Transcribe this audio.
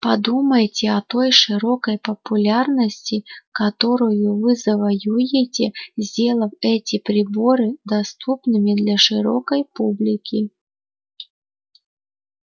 подумайте о той широкой популярности которую вы завоюете сделав эти приборы доступными для широкой публики